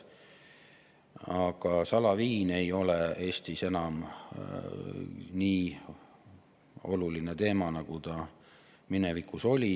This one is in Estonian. Salaviin ei ole Eestis enam nii oluline teema, nagu minevikus oli.